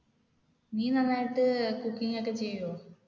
നീ നന്നായിട്ട് cooking ഒക്കെ ചെയ്യോ?